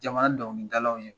Jamana donkilidalaw ye